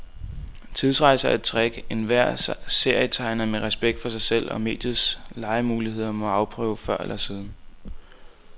Tidsrejser er et trick, enhver serietegner med respekt for sig selv og mediets legemuligheder må afprøve før eller siden.